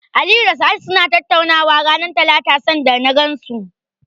Aliyu da Sa'ad suna tattaunawa ranar Talata sanda na gansu.